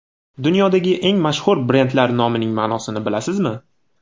Dunyodagi eng mashhur brendlar nomining ma’nosini bilasizmi?.